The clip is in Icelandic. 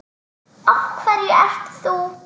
Af hverju ert þú?